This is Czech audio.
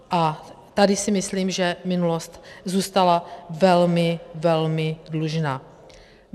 A tady si myslím, že minulost zůstala velmi, velmi dlužná.